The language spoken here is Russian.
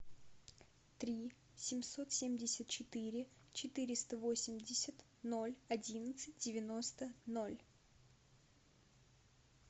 три семьсот семьдесят четыре четыреста восемьдесят ноль одиннадцать девяносто ноль